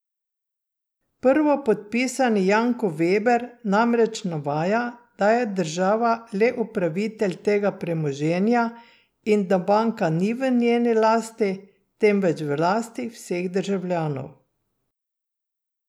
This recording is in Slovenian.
Prvopodpisani Janko Veber namreč navaja, da je država le upravitelj tega premoženja in da banka ni v njeni lasti, temveč v lasti vseh državljanov.